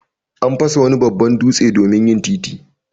An fasa wani babban dutse domin yin titi.